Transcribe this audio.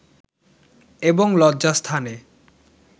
এবং লজ্জাস্থানে